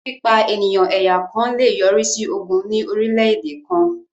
Pípa ènìyàn ẹ̀yà kàn lè yọrí sí ogún ní orílẹ̀-èdè kàn